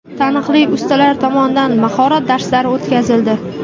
Taniqli ustalar tomonidan mahorat darslari o‘tkazildi.